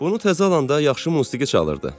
"Bunu təzə alanda yaxşı musiqi çalırdı.